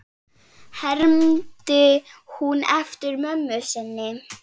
hermdi hún eftir mömmu sinni.